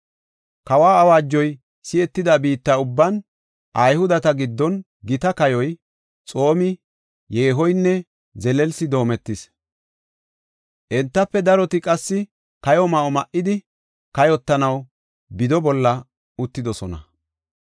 Kawa awaajoy si7etida biitta ubban Ayhudeta giddon gita kayoy, xoomi, yeehoynne zelelsi doometis. Entafe daroti qassi kayo ma7o ma7idi, kayotanaw bido bolla uttidosona.